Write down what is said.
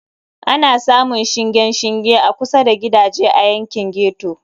Ana samun shingen shinge a kusa da gidaje a yankin ghetto.